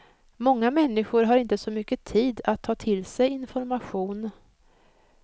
Många människor har inte så mycket tid att ta till sig information.